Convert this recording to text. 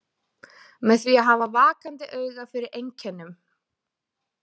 Með því að hafa vakandi auga fyrir einkennum.